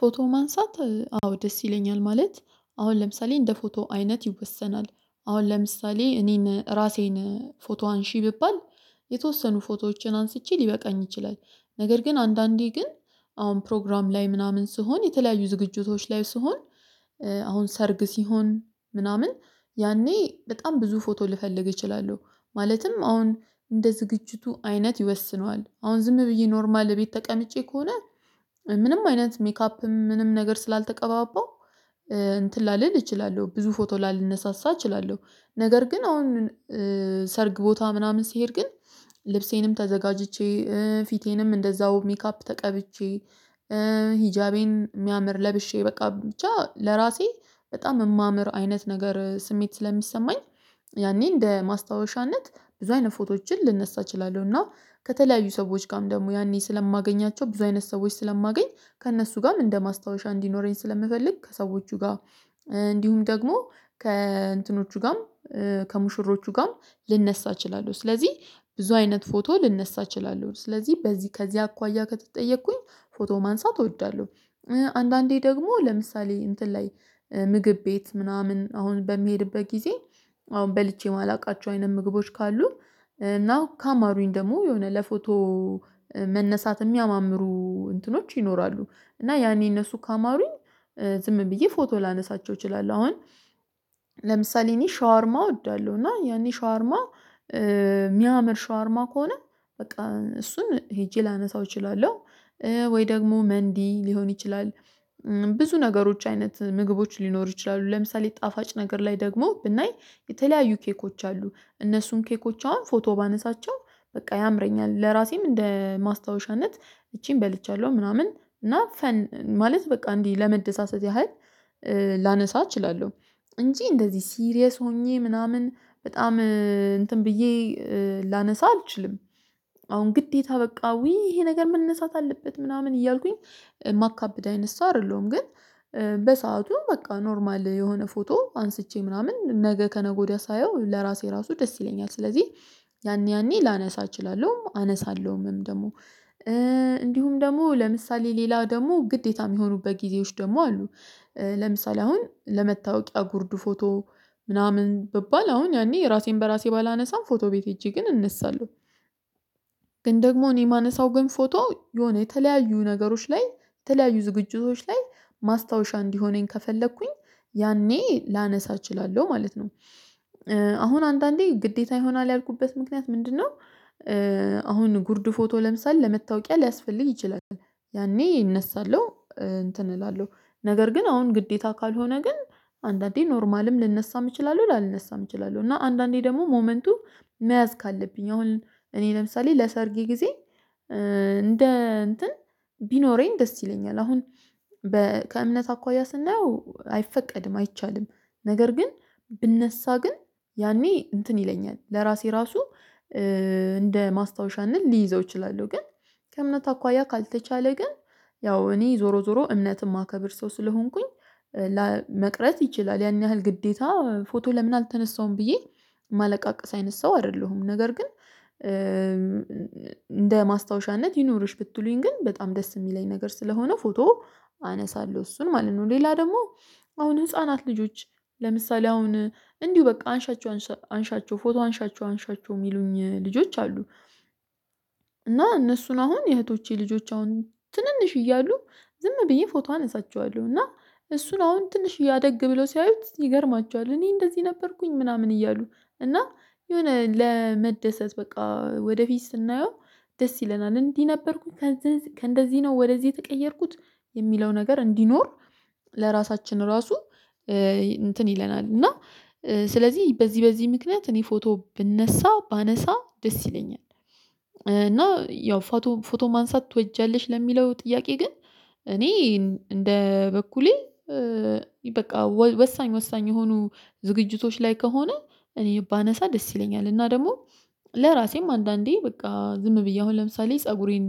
ፎቶ ማንሳት? አዎ ደስ ይለኛል። ማለት አሁን ለምሳሌ እንደ ፎቶው አይነት ይወሰናል። አሁን ለምሳሌ እኔን ራሴን ፎቶ አንሺ ብባል- የተወሰኑ ፎቶዎችን አንስቼ ሊበቃኝ ይችላል። ነገር ግን አንዳንዴ ግን አሁን ፕሮግራም ላይ ምናምን ስሆን የተለያዩ ዝግጅቶች ላይ ስሆን- አሁን ሰርግ ሲሆን ምናምን ያኔ በጣም ብዙ ፎቶ ልፈልግ እችላለሁ። ማለትም አሁን እንደ ዝግጅቱ አይነት ይወስነዋል። አሁን ዝም ብዬ ኖርማል ቤት ተቀምጬ ከሆነ- ምንም አይነት ሜካፕም ምንም ነገር ስላልተቀባባው እንትን ላልል እችላለሁ። ብዙ ፎቶ ላልነሳሳ እችላለሁ። ነገር ግን አሁን ሰርግ ቦታ ምናምን ሲሄድ ግን ልብሴንም ተዘጋጅቼ ፊቴንም እንደዛው ሜካፕ ተቀብቼ- ሂጃቤን የሚያምር ለብሼ በቃ ብቻ ለራሴ በጣም ማምመር አይነት ነገር ስሜት ስለሚሰማኝ- ያኔ እንደ ማስታወሻነት ብዙ አይነት ፎቶዎችን ልነሳ እችላለሁ። እና ከተለያዩ ሰዎች ጋርም ደግሞ ያኔ ስለማገኛቸው ብዙ አይነት ሰዎች ስለማገኝ ከእነሱ ጋርም እንደማስታወሻ እንዲኖረኝ ስለምፈልግ ከሰዎቹ ጋር እንዲሁም ደግሞ ከእንትኖቹ ጋርም- ከሙሽሮቹ ጋር ልነሳ እችላለሁ። ስለዚህ ብዙ አይነት ፎቶ ልነሳ እችላለሁ። ስለዚህ በዚህ ከዚህ አኳያ ከተጠየቅኩኝ ፎቶ ማንሳት እወዳለሁ። አንዳንዴ ደግሞ ለምሳሌ እንትን ላይ ምግብ ቤት ምናምን አሁን በሚሄድበት ጊዜ አሁን በልቼ የማላውቃቸው አይነት ምግቦች ካሉ እና ካማሩኝ ደግሞ የሆነ ለፎቶ- መነሳት የሚያማምሩ እንትኖች ይኖራሉ። እና ያኔ እነሱ ካማሩኝ ዝም ብዬ ፎቶ ላነሳቸው እችላለሁ። አሁን ለምሳሌ እኔ ሻወርማ እወዳለሁ እና ያኔ ሻወርማ የሚያምር ሻወርማ ከሆነ በቃ እሱን ሄጄ ላነሳው እችላለሁ። ወይ ደግሞ መንዲ ሊሆን ይችላል። ብዙ ነገሮች አይነት ምግቦች ሊኖሩ ይችላሉ። ለምሳሌ ጣፋጭ ነገር ላይ ደግሞ ብናይ የተለያዩ ኬኮች አሉ። እነሱን ኬኮች አሁን ፎቶ ባነሳቸው በቃ ያምረኛል። ለራሴም እንደ ማስታወሻነት እቺን በልቻለሁ ምናምን እና- ማለት በቃ እንዲህ ለመደሳሰት ያህል ላነሳ እችላለሁ። እንጂ እንደዚህ ሲሪየስ ሆኜ ምናምን በጣም እንትን ብዬ ላነሳ አልችልም። አሁን ግዴታ በቃ ይሄ ነገር መነሳት አለበት ምናምን እያልኩኝ ማካብድ አይነት ሰው አይደለሁም። ግን- በሰአቱ በቃ ኖርማል የሆነ ፎቶ አንስቼ ምናምን ነገ ከነገ ወዲያ ሳየው ለራሴ ራሱ ደስ ይለኛል። ስለዚህ- ያኔ ያኔ ላነሳ እችላለሁ። አነሳለሁም ደግሞ። እንዲሁም ደግሞ ለምሳሌ ሌላ ደግሞ ግዴታ የሚሆኑበት ጊዜዎች ደግሞ አሉ። ለምሳሌ አሁን ለመታወቂያ ጉርድ ፎቶ ምናምን ብባል አሁን ያኔ ራሴን በራሴ ባላነሳም ፎቶ ቤት ሄጄ ግን እነሳለሁ። ግን ደግሞ እኔ የማነሳው ግን ፎቶ የሆነ የተለያዩ ነገሮች ላይ የተለያዩ ዝግጅቶች ላይ ማስታወሻ እንዲሆነኝ ከፈለኩኝ ያኔ ላነሳ እችላለሁ ማለት ነው። አሁን አንዳንዴ ግዴታ ይሆናል ያልኩበት ምክንያት ምንድነው- አሁን ጉርድ ፎቶ ለምሳሌ ለመታወቂያ ሊያስፈልግ ይችላል። ያኔ እነሳለሁ። እንትን እላለሁ። ነገር ግን አሁን ግዴታ ካልሆነ ግን- አንዳንዴ ኖርማልም ልነሳም እችላለሁ። ላልነሳም እችላለሁ። እና አንዳንዴ ደግሞ ሞመንቱ መያዝ ካለብኝ አሁን እኔ ለምሳሌ ለሰርጌ ጊዜ እንደ እንትን ቢኖረኝ ደስ ይለኛል። አሁን- ከእምነት አኳያ ስናየው አይፈቀድም። አይቻልም። ነገር ግን ብነሳ ግን ያኔ እንትን ይለኛል። ለራሴ ራሱ- እንደ ማስታወሻ እንል ሊይዘው እችላለሁ። ግን ከእምነት አኳያ ካልተቻለ ግን ያው እኔ ዞሮ ዞሮ እምነት የማከብር ሰው ስለሆንኩኝ- ላመቅረት ይችላል። ያን ያህል ግዴታ ፎቶ ለምን አልተነሳሁም ብዬ ማለቃቀስ አይነት ሰው አይደለሁም። ነገር ግን እንደ ማስታወሻነት ይኑርሽ ብትሉኝ ግን በጣም ደስ የሚለኝ ነገር ስለሆነ ፎቶ- አነሳለሁ እሱን ማለት ነው። ሌላ ደግሞ- አሁን ህፃናት ልጆች ለምሳሌ አሁን እንዲሁ በቃ አንሻቸው አንሻቸው ፎቶ አንሻቸው አንሻቸው የሚሉኝ ልጆች አሉ። እና እነሱን አሁን የእህቶቼ ልጆች አሁን ትንንሽ እያሉ ዝም ብዬ ፎቶ አነሳቸዋለሁ። እና- እሱን አሁን ትንሽዬ አደግ ብለው ሲያዩት ይገርማቸዋል። እኔ እንደዚህ ነበርኩኝ። ምናምን እያሉ እና የሆነ ለመደሰት በቃ ወደፊት ስናየው ደስ ይለናል። እንዲህ ነበርኩኝ። ከእንደዚህ ነው ወደዚህ የተቀየርኩት የሚለው ነገር እንዲኖር ለራሳችን ራሱ- እንትን ይለናል። እና ስለዚህ በዚህ በዚህ ምክንያት እኔ ፎቶ ብነሳ ባነሳ ደስ ይለኛል። እና ያው ፎቶ ማንሳት ትወጃለሽ ለሚለው ጥያቄ ግን እኔ እንደ በኩሌ- በቃ ወሳኝ ወሳኝ የሆኑ ዝግጅቶች ላይ ከሆነ እኔ ባነሳ ደስ ይለኛል። እና ደግሞ- ለራሴም አንዳንዴ በቃ ዝም ብዬ አሁን ለምሳሌ ፀጉሬን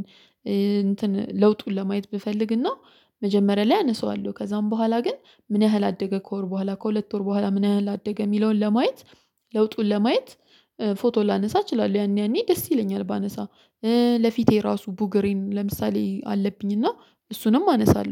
እንትን ለውጡን ለማየት ብፈልግና- መጀመሪያ ላይ አነሳዋለሁ። ከዛም በኋላ ግን ምን ያህል አደገ ከወር በኋላ :ከሁለት ወር በኋላ ምን ያህል አደገ የሚለውን ለማየት ለውጡን ለማየት: ፎቶ ላነሳ እችላለሁ። ያኔ ያኔ ደስ ይለኛል ባነሳ። ለፊቴ ራሱ ቡገሬን ለምሳሌ አለብኝ እና እሱንም አነሳለሁ።